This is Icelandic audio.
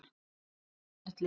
Ég elska allt ferlið.